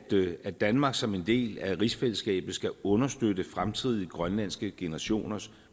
at danmark som en del af rigsfællesskabet skal understøtte fremtidige grønlandske generationers